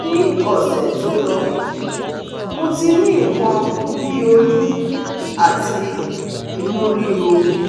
ni ose to lo, mo ti ni nkan bi oyun ati inu riro